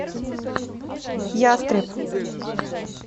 ястреб